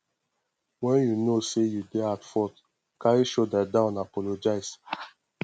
when you know sey you dey at fault carry shoulder down apologise